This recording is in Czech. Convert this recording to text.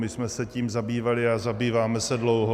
My jsme se tím zabývali a zabýváme se dlouho.